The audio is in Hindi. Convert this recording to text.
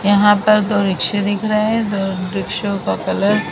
यहां पर दो रिक्शे दिख रहे है दो रिक्शों का कलर --